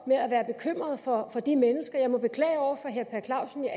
med at være bekymrede for de mennesker jeg må beklage over for herre per clausen at